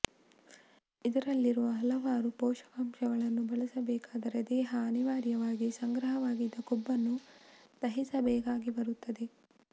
ಇದರಲ್ಲಿರುವ ಹಲವಾರು ಪೋಷಕಾಂಶಗಳನ್ನು ಬಳಸಬೇಕಾದರೆ ದೇಹ ಅನಿವಾರ್ಯವಾಗಿ ಸಂಗ್ರಹವಾಗಿದ್ದ ಕೊಬ್ಬನ್ನು ದಹಿಸಬೇಕಾಗಿ ಬರುತ್ತದೆ